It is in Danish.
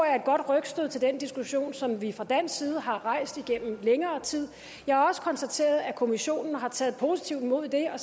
er et godt rygstød til den diskussion som vi fra dansk side har rejst igennem længere tid jeg har også konstateret at kommissionen har taget positivt imod det og